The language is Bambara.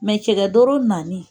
cɛkɛ doro nani